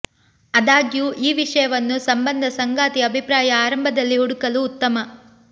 ಆದಾಗ್ಯೂ ಈ ವಿಷಯವನ್ನು ಸಂಬಂಧ ಸಂಗಾತಿ ಅಭಿಪ್ರಾಯ ಆರಂಭದಲ್ಲಿ ಹುಡುಕಲು ಉತ್ತಮ